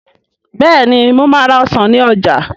Bẹ́ẹ̀ni mo máa ra ọsàn ní ọjà